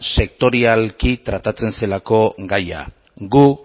sektorialki tratatzen zelako gaia gu